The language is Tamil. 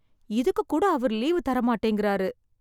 இதுக்கு கூட அவர் லீவு தர மாட்டேங்கிறாரு.